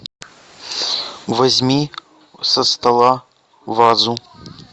возьми со стола вазу